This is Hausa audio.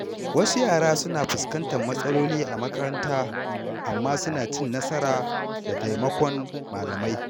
Wasu yara suna fuskantar matsaloli a makaranta, amma suna cin nasara da taimakon malamai.